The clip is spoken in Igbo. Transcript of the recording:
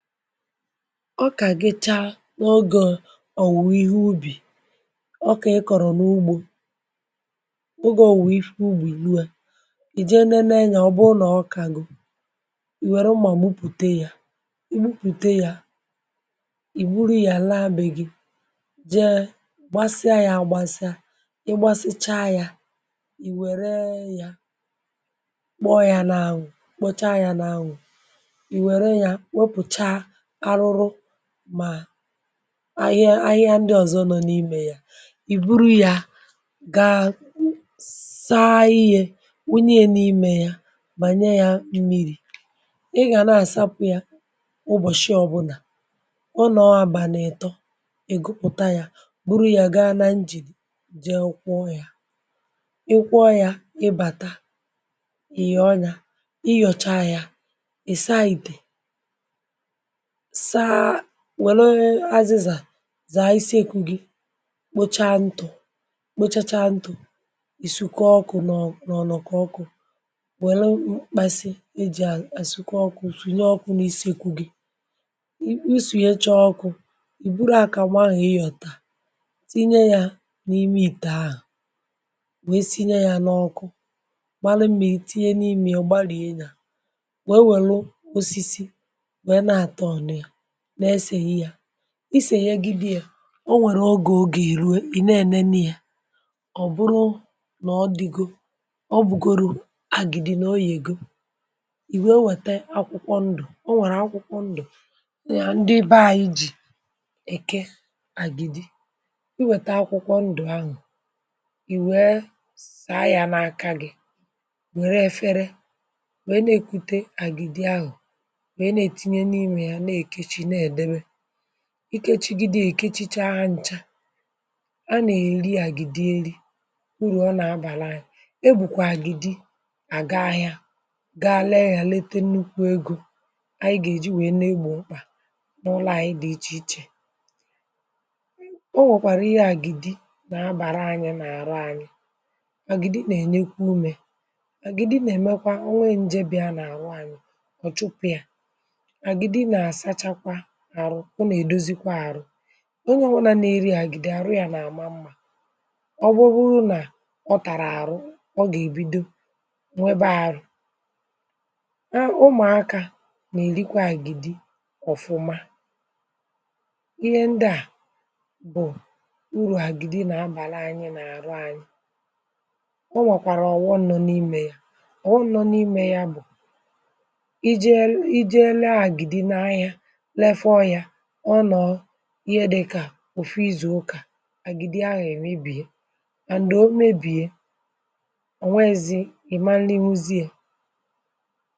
ọkà gịcha, n’ogȯ, ọ̀ wùwà ihe ubì. ọkà ị kọ̀rọ̀, n’ugbȯ, ogė ọ̀ wùwà ihe ubì. ubì ihe u̇, à, ì jee nene nyȧ, ọ̀ bụ nà ọkà gụ̀. ì wère mmà, gbupùte yȧ, gbupùte yȧ, ì buru ihe à, laa be gị̇. jee gbasịa yȧ, agbȧsịa, ịgbȧsịcha yȧ. ì wère yȧ, kpọ́ yȧ na-anwụ̀, kpocha yȧ na-anwụ̀. arụrụ mà ahịa, ahịa ndị ọ̀zọ, nọ n’imè ya. ì buru ya, gaa saa iyi̇, wụnye n’imè ya, bànye yȧ mmiri̇. ị gà na-àsapụ̇ ya, ụbọ̀shị ọbụnà ọ nọọ, abànètọ. ị̀ gụkpụta yȧ, buru ya, gaa na njìrì, jee kwụọ yȧ, ị kwụọ yȧ. ịbàta, ị yà ọnyȧ, ị yọcha yȧ, ị saa ìtè. saa, wẹ̀lụ azịzà, zàa isi ekwu̇ gị, kpocha ntụ̀, kpochacha ntụ̀. ìsikọ ọkụ̇, nà ọ nọ̀ nọ̀, kụ ọkụ̇. wẹ̀lụ mkpasị, e jì à àsikọ ọkụ̇, sụ̀nye ọkụ̇ n’isi ekwu̇ gị̇, usùnyecha ọkụ̇. ì buru, à kà nwaahụ̀, ị yọ̀tà, tinye yȧ n’ime, ị tàa ahụ̀, wee sinye ya n’ọkụ. mara m̀miri, tinye n’ime ya, gbalìe yȧ, isènyè gị, di̇ yȧ. o nwèrè ogè, ogè ìneène, na-ị yȧ. ọ̀ bụrụ nà ọ dịgo, ọ bụ̀gòrò àgịdị. n’oyì egȯ, ì nwe o, nwète akwụkwọ ndụ̀. o nwèrè akwụkwọ ndụ̀, ndị be ȧ yi̇, jì èke àgịdị. i nwèta akwụkwọ ndụ̀ anụ̀, ì wèe sàa yȧ n’aka gị̇. wère efere, wèe na-èkwute àgịdị ahụ̀, ikechigide, èkechicha ncha. a nà-èri àgìdi, nri. urù ọ nà-abàra anyi̇, e bùkwà àgìdi. à ga-ahịȧ, ga àle yȧ, lete nnukwu egȯ, ànyị gà-èji, nwèe, na-egbò ọkpà, n’ụlọ̇ ànyị, dị̇ ichè ichè. o nwèkwàrà ihe, àgìdi nà-abàra anyi̇, n’àra anyi̇. àgìdi nà-ènyekwa umė, àgìdi nà-èmekwa onwe njėbị̀a n’àrụ anyi̇. ọ̀ chụpụ̇ ya, arụ̇, ọ nà-èdozikwa àrụ onye ọwụnȧ, na-èri àgìdi, àrụ yȧ n’àma mmȧ. ọ bụrụ nà ọ tàrà àrụ, ọ gà-èbido nwebe àrụ a. ụmụ̀akȧ nà-èrikwa àgìdi, ọ̀fụma. ihe ndịà, bụ̀ urù àgìdi nà-abàla anyị̇, nà-àrụ anyị̇. ọ nwèkwàrà ọ̀wụọ, nọ̀ n’imė yȧ, ọ̀wụọ, nọ n’imė yȧ. bụ̀ ije ere àgìdi, na-ahịa, ihe dị̇ka òfu izù ụkà. àgịdị ahụ̀ emebiè, mà ndị o mebiè, ọ̀ nwezi ị̀ma, ndị mụzi yȧ.